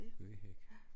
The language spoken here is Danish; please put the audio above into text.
Bøgehæk